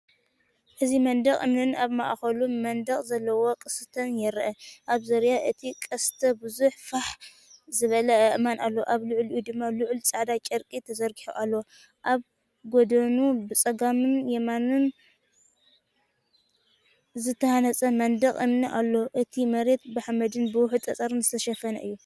እዚ መንደቕ እምኒን ኣብ ማእከሉ መንደቕ ዘለዎ ቅስትን ይርአ። ኣብ ዙርያ እቲ ቅስትብዙሕ ፋሕ ዝበለ ኣእማን ኣሎ፣ ኣብ ልዕሊኡ ድማ ልዑል ጻዕዳ ጨርቂ ተዘርጊሑ ኣሎ። ኣብ ጎድኑ ብጸጋምን የማንንዝተሃንጸ መንደቕ እምኒ ኣሎ። እቲ መሬት ብሓመድን ብውሑድ ጸጸርን ዝተሸፈነ እዩ።